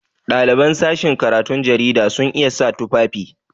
Ɗaliban sashin karatun jarida sun iya sa tufafi.